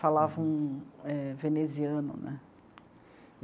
Falava um veneziano né.